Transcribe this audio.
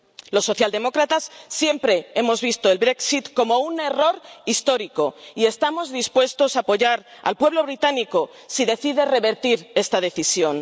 Los socialdemócratas siempre hemos visto el Brexit como un error histórico y estamos dispuestos a apoyar al pueblo británico si decide revertir esta decisión.